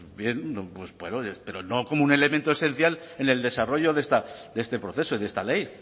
no sé pero no como un elemento esencial en el desarrollo de este proceso y de esta ley